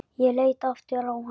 Ég leit aftur á hana.